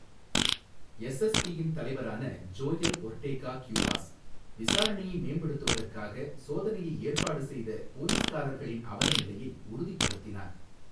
எஸ்எஸ்பியின் தலைவரான Joel Ortega Cuevas, விசாரணையை மேம்படுத்துவதற்காக சோதனையை ஏற்பாடு செய்த போலீஸ்காரர்களின் அவலநிலையை உறுதிப்படுத்தினார்.